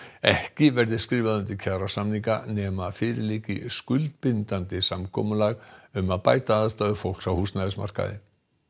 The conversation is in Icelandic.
ekki verði skrifað undir kjarasamninga nema fyrir liggi skuldbindandi samkomulag um að bæta aðstæður fólks á húsnæðismarkaði